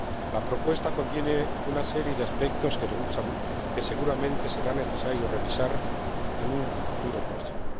La propuesta contiene una serie de aspectos que seguramente será necesario revisar en un futuro próximo.